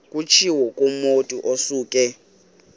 kutshiwo kumotu osuke